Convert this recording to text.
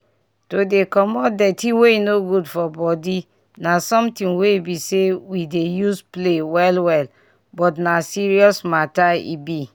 to dey comot dirty wey no good for body na something wey bi say we dey use play well well but na serious mata e bi